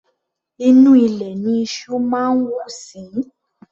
Inú ilẹ̀ ní iṣú máa ń wù sí.